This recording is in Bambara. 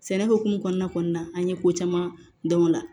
Sɛnɛ hukumu kɔnɔna kɔni na an ye ko caman dɔn o la